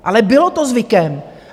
Ale bylo to zvykem!